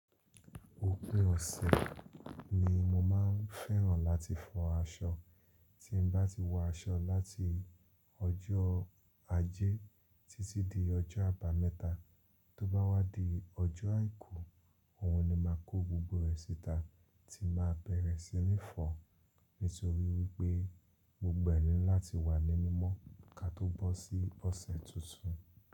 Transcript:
Òpin ọ̀sẹ̀ ni mo máa ń fẹ́ràn láti fọ aṣọ. Tí n bá ti wọ aṣọ láti ọjọ́ ajé títí di ọjọ́ àbámẹ́ta, tó bá wá di ọjọ́ àìkú, òhun ni máa kó gbogbo rẹ̀ síta tí máa bẹ̀rẹ̀ sí ní fọ nítorí wípé gbogbo ẹ ni láti wà ní mimọ́ ka tó bó sí ọ̀sẹ̀ tuntun.